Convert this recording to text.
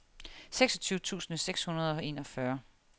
seksogtyve tusind seks hundrede og enogfyrre